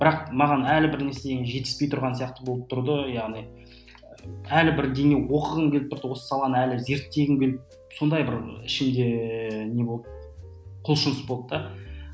бірақ маған әлі бір нәрсенің жетіспей тұрған сияқты болып тұрды яғни әлі бірдеңе оқығым келіп тұрды осы саланы әлі зерттегім келіп сондай бір ішімде не болды құлшыныс болды да